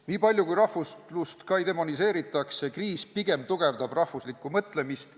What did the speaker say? Nii palju kui rahvuslust ka ei demoniseeritaks, kriis pigem tugevdab rahvuslikku mõtlemist.